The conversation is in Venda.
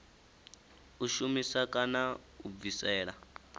u shumisa kana u bvisela